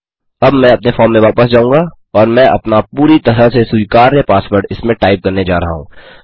अब मैं अपने फॉर्म में वापस जाऊँगा और मैं अपना पूरी तरह से स्वीकार्य पासवर्ड इसमें टाइप करने जा रहा हूँ